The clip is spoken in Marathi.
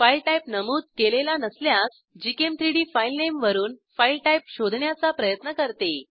फाईल टाईप नमूद केलेला नसल्यास gchem3डी फाईलनेमवरून फाईल टाईप शोधण्याचा प्रयत्न करते